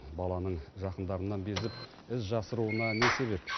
баланың жақындарынан безіп із жасыруына не себеп